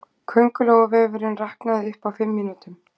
Köngulóarvefurinn raknaði upp á fimm mínútum